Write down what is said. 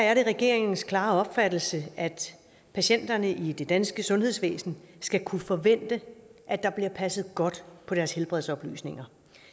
er regeringens klare opfattelse at patienterne i det danske sundhedsvæsen skal kunne forvente at der bliver passet godt på deres helbredsoplysninger